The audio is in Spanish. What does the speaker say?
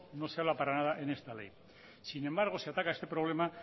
no se habla para nada en esta ley sin embargo se ataca este problema